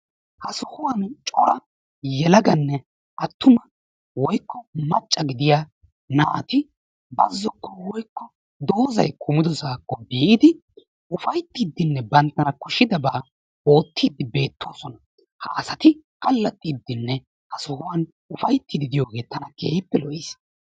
Ha sohuwani yelaganne attuma woykko macca gidiya naa"ati bazzokko woykko doozayi kumidosaakko biidi ufayttiiddinne banttana koshshidabaa oottiiddi beettoosona. Ha asati allaxxiiddinne ha sohuwan ufayttiiddi de"iyogee tana keehippe lo"es.